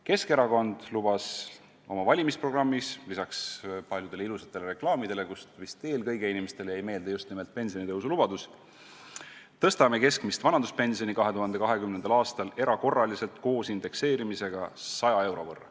Keskerakond lubas oma valimisprogrammis ja paljudes ilusates reklaamides, kust inimestele jäigi meelde vist eelkõige just nimelt pensionitõusulubadus: "Tõstame keskmist vanaduspensioni 2020. aastal erakorraliselt koos indekseerimisega 100 euro võrra.